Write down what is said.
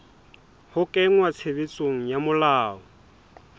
ho kenngwa tshebetsong ha melao